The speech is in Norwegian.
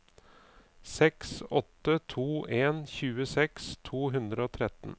seks åtte to en tjueseks to hundre og tretten